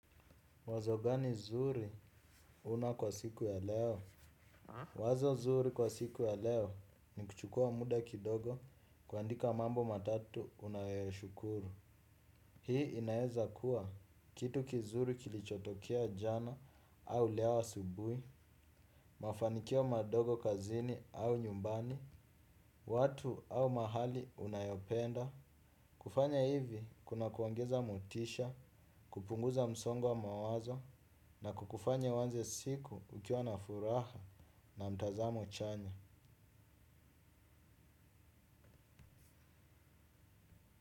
Wazo gani nzuri una kwa siku ya leo? Wazo nzuri kwa siku ya leo ni kuchukua muda kidogo kuandika mambo matatu unayo ya shukuru. Hii inaeza kuwa kitu kizuri kilichotokea jana au leo asubuhi, mafanikio madogo kazini au nyumbani, watu au mahali unayopenda. Kufanya hivi kuna kuongeza motisha, kupunguza msongo wa mawazo na kukufanya uanze siku ukiwa na furaha na mtazamo chanya.